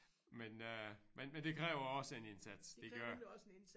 Men øh men men det kræver også en indsats det gør det